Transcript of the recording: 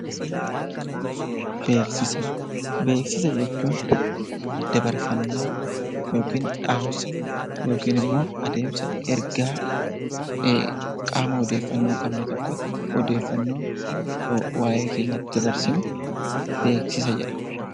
Beeksisa Beeksisa jechuun daddabarfannaa yookaan dhaamsa yookiin immoo adeemsa ergaa qaama odeeffannoo hin qabne tokkotti odeeffannoo waa'ee keenya itti dabarsinu, beeksisa jedhama.